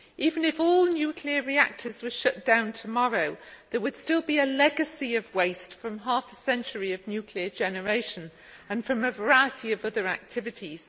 Even if all nuclear reactors were shut down tomorrow, there would still be a legacy of waste from half a century of nuclear generation and from a variety of other activities.